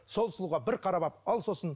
сол сұлуға бір қарап алып ал сосын